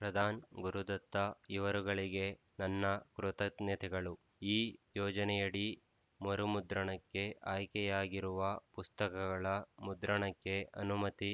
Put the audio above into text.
ಪ್ರಧಾನ್ ಗುರುದತ್ತ ಇವರುಗಳಿಗೆ ನನ್ನ ಕೃತಜ್ಞತೆಗಳು ಈ ಯೋಜನೆಯಡಿ ಮರುಮುದ್ರಣಕ್ಕೆ ಆಯ್ಕೆಯಾಗಿರುವ ಪುಸ್ತಕಗಳ ಮುದ್ರಣಕ್ಕೆ ಅನುಮತಿ